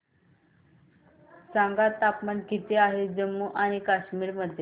सांगा तापमान किती आहे जम्मू आणि कश्मीर मध्ये